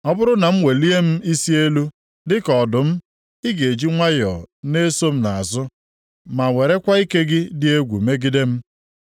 Ọ bụrụ na m welie m isi elu, dịka ọdụm ị ga-eji nwayọọ na-eso m nʼazụ ma werekwa ike gị dị egwu megide m.